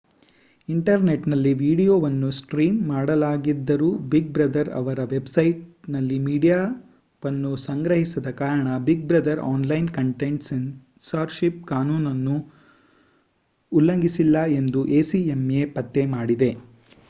ಇಂಟರ್ನೆಟ್‌ನಲ್ಲಿ ವೀಡಿಯೊವನ್ನು ಸ್ಟ್ರೀಮ್ ಮಾಡಲಾಗಿದ್ದರೂ big brother ಅವರ ವೆಬ್‌ಸೈಟ್‌ನಲ್ಲಿ ಮೀಡಿಯಾವನ್ನು ಸಂಗ್ರಹಿಸದ ಕಾರಣ big brother online content censorship ಕಾನೂನುಗಳನ್ನು ಉಲ್ಲಂಘಿಸಿಲ್ಲ ಎಂದು acma ಪತ್ತೆಮಾಡಿದೆ